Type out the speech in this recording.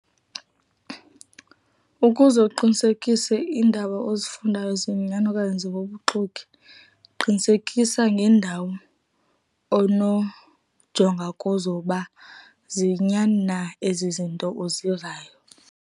Ukuze uqinisekise iindaba ozifundayo ziyinyani okanye zibubuxoki, qinisekisa ngeendawo onojonga kuzo uba ziyinyani na ezi zinto uzivayo.